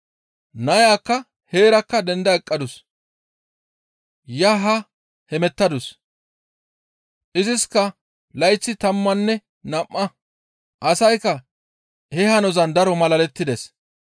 Nayakka heerakka denda eqqadus; yaanne haa hemettadus. Iziska layththay tammanne nam7a; asaykka he hanozan daro malalettides.